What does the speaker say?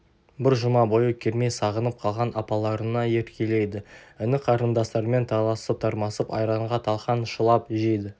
бір жұма бойы кермей сағынып қалған апаларына еркелейді іні-қарындастарымен таласып-тармасып айранға талқан шылап жейді